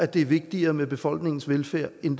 det er vigtigere med befolkningens velfærd end